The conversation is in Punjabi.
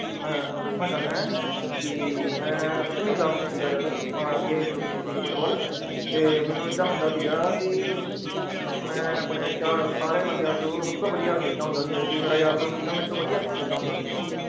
ਮੈਂ ਤੁਹਾਨੂੰ ਦੱਸਣਾ ਚਾਹੁਨਾ ਹੈਂ ਕਿ ਮੈਂ ਸੱਤਵੀਂ class 'ਚ ਸੀਗਾ ਜਦ ਆਹ game ਸ਼ੁਰੂ ਕੀਤੀ ਸੀਗੀ ਫੁਟਬਾਲ ਤੇ ਮੈਨੂੰ ਏਦਾਂ ਹੁੰਦਾ ਸੀਗਾ ਵੀ ਮੈਂ ਆਪਣੇ ਚਾਰ ਸਾਰੇ ਬੰਦਿਆਂ ਚੋਂ ਸਭ ਤੋਂ ਵਧੀਆ ਖੇਲਦਾ ਹੁੰਦਾ ਸੀਗਾ, ਇੱਕ ਮੇਰਾ ਯਾਰ ਦੋਸਤ ਸੀਗਾ ਮੇਰੇ ਤੋਂ ਵਧੀਆ ਖੇਲਦਾ ਹੁੰਦਾ ਸੀਗਾ ਉਹ।